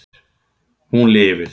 Hún lifir.